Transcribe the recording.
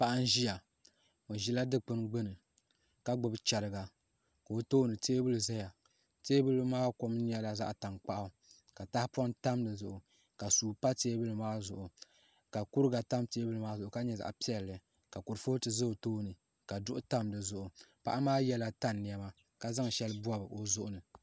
Paɣa n ʒiya o ʒila dikpuni gbuni ka gbubi chɛriga ka o tooni teebuli ʒɛya teebuli maa kom nyɛla zaɣ tankpaɣu ka tahapoŋ tam di zuɣu ka suu pa teebuli maa zuɣu ka kuriga tam teebuli maa zuɣu ka nyɛ zaɣ piɛlli ka kurifooti ʒɛ o tooni ka duɣu tam dizuɣu paɣa maa yɛla tani niɛma ka zaŋ shɛli bob o zuɣu ni